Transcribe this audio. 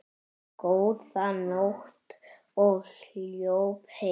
Góða nótt og hljóp heim.